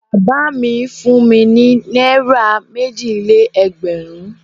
Bàbá mi fún mi ní náírà méje-lé-ẹgbẹ̀rún.